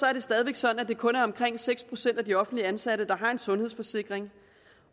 er det stadig væk sådan at det kun er omkring seks procent af de offentligt ansatte der har en sundhedsforsikring